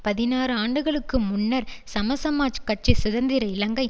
பதினாறு ஆண்டுகளுக்கு முன்னர் சமசமாஜக் கட்சி சுதந்திர இலங்கை